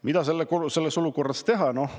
Mida selles olukorras teha?